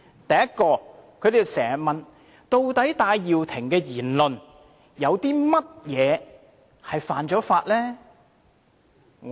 第一，他們經常問，究竟戴耀廷的言論有甚麼地方違法？